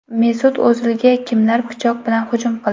Mesut O‘zilga kimlar pichoq bilan hujum qildi?